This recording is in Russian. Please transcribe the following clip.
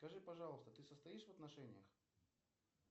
скажи пожалуйста ты состоишь в отношениях